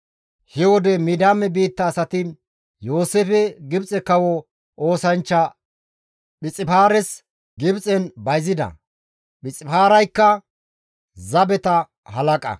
He wode Midiyaame biitta asati Yooseefe Gibxe kawo oosanchcha Phixifaaras Gibxen bayzida; Phixifaaraykka zabeta halaqa.